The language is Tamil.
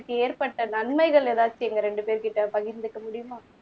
ஏற்பட்ட நன்மைகள் எதாச்சும் எங்க ரெண்டு பேர்கிட்ட பகிர்ந்துக்க முடியுமா